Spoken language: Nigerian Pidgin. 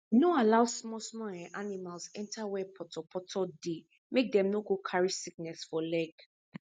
no allow small small um animals enter where poto poto dey make dem no go carry sickness for leg